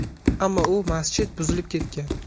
Ammo u masjid buzilib ketgan.